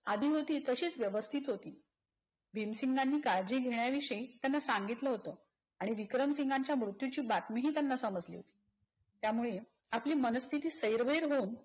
आधी होती तशीच व्यवस्थित होती. भीमसिंघानी काळजी घेण्या विषयी त्यांना सांगितलं होत. आणि विक्रमसिंघांच्या मृत्यूची बातमीही त्यांना समजली होती. त्यामुळे आपली मनस्थिती सैरवैर होऊन